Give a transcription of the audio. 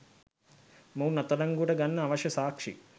මොවුන් අත්අඩංගුවට ගන්න අවශ්‍ය සාක්ෂි